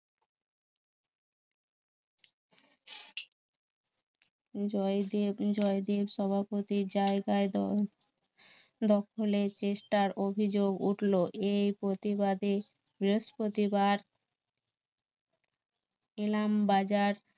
জয়দেব, জয়দেব সভাপতির জায়গায় দল~দখলের চেষ্টার অভিযোগ উঠলো এই প্রতিবাদে বৃহস্পতিবার ইলামবাজার